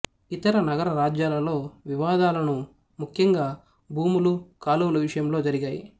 ఇతర నగరరాజ్యాలలో వివాదాలను ముఖ్యంగా భూములు కాలువల విషయంలో జరిగాయి